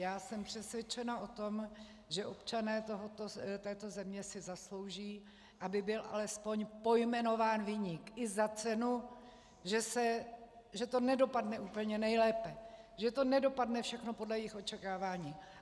Já jsem přesvědčená o tom, že občané této země si zaslouží, aby byl alespoň pojmenován viník i za cenu, že to nedopadne úplně nejlépe, že to nedopadne všechno podle jejich očekávání.